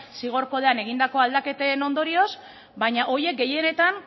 zigor kodean egindako aldaketen ondorioz baina horiek gehienetan